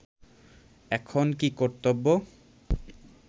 এখন কি কর্তব্য